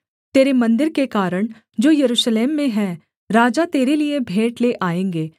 तेरे मन्दिर के कारण जो यरूशलेम में हैं राजा तेरे लिये भेंट ले आएँगे